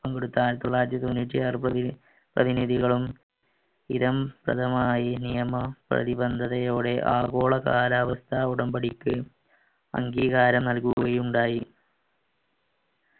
പങ്കെടുത്ത ആയിരത്തി തൊള്ളായിരത്തി തൊണ്ണൂറ്റിയാർ പ്രതിനിധികളും സ്ഥിരം സ്ഥലമായി നിയമം പ്രതിബദ്ധതയോടെ ആഗോള കാലാവസ്ഥ ഉടമ്പടിക്ക് അംഗീകാരം നൽകുകയുണ്ടായി